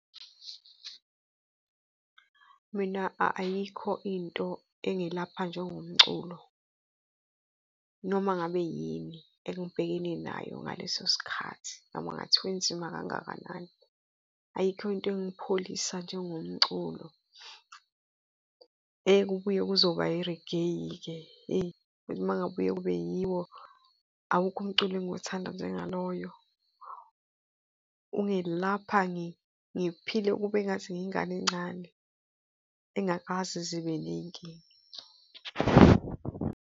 Mina ayikho into engelapha njengomculo noma ngabe yini engibhekene nayo ngaleso sikhathi, noma kungathiwa inzima kangakanani, ayikho into engipholisa njengomculo. Eyi, kubuye kuzoba i-reggae-ke, hheyi ukuthi uma kungabuye kube yiwo, awukho umculo engiwuthanda njengaloyo ungilapha, ngiphile kube ngathi ngiyingane encane engakaze ize ibe ney'nkinga.